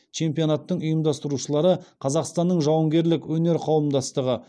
чемпионаттың ұйымдастырушылары қазақстанның жауынгерлік өнер қауымдастығы